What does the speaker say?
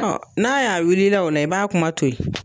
N'a y'a wulila la o la i b'a kuma to ye.